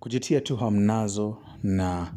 Kujitia tu hamnazo na